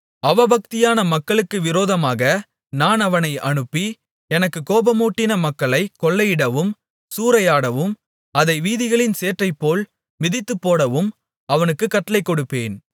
அவபக்தியான மக்களுக்கு விரோதமாக நான் அவனை அனுப்பி எனக்குக் கோபமூட்டின மக்களைக் கொள்ளையிடவும் சூறையாடவும் அதை வீதிகளின் சேற்றைப்போல் மிதித்துப்போடவும் அவனுக்குக் கட்டளைகொடுப்பேன்